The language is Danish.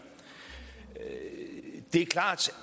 det er klart